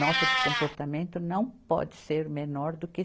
Nota de comportamento não pode ser menor do que